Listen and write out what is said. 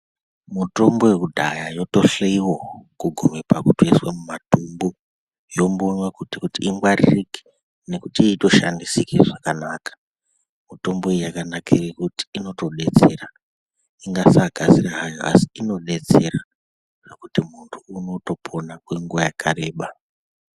Mutombo yekudhaya yotohloyiwa kugume pakuiswa mumadhumbu yombonywa kuti ingwaririke nekuti itoshandisike zvakanaka mitombo iyi yakanakire luti inotodetsera ingasakasira hayo asi inodetsera ndokuti mundu unotopona kenguva yakareba.